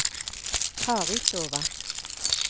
Karistova